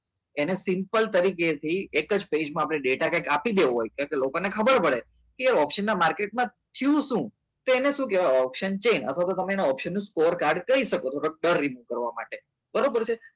એને simple તરીકે થી એક જ પેજમાં આપણે બેઠા આપી દેવો હોય તો લોકોને ખબર પડે કે option ના માર્કેટમાં શું તો એને શું કહેવાય option change અથવા તો તમે score કાઢી કરી શકો કોર કાર્ડ કહી શકો તો તમને બરાબર છે